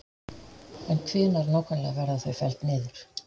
En hvenær nákvæmlega verða þau felld niður?